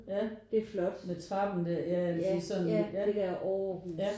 Ja med trappen der ja ja det vil sige lidt sådan ja